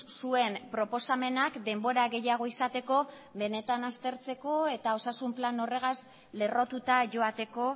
zuen proposamenak denbora gehiago izateko benetan aztertzeko eta osasun plan horrek horregaz lerrotuta joateko